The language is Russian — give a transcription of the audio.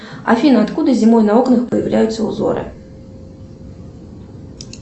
афина откуда зимой на окнах появляются узоры